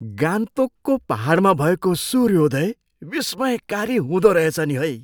गान्तोकको पाहाडमा भएको सूर्योदय विस्मयकारी हुँदोरहेछ नि है।